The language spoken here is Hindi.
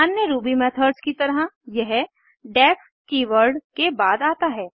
अन्य रूबी मेथड्स की तरह यह डेफ कीवर्ड के बाद आता है